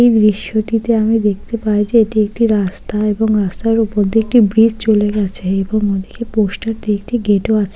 এই দৃশ্যটিতে আমি দেখতে পাই যে এটি একটি রাস্তা এবং রাস্তার উপর দিয়ে একটি ব্রিজ চলে গেছে এবং ওদিকে পোস্টার দিয়ে একটি গেট ও আছে।